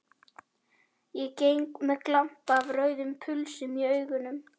Ég geng með glampa af rauðum pulsum í augunum.